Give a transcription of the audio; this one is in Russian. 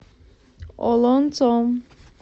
олонцом